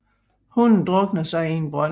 Hunden druknede sig i en brønd